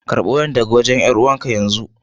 Karba wayan daga wajen 'yar'uwan ka yanzu.